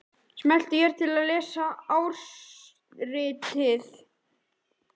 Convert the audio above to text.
Smelltu hér til að lesa ársritið